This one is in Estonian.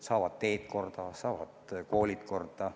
Saavad teed korda, saavad koolid korda.